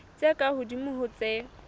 tse ka hodimo ho tse